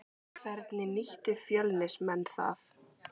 Hvernig nýttu Fjölnismenn það?